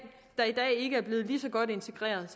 ikke er blevet lige så godt integreret